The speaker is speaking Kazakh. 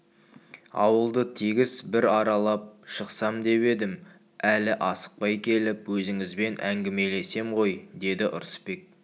ауылды тегіс бір аралап шықсам деп едім әлі асықпай келіп өзіңізбен әңгімелесем ғой деді ырысбек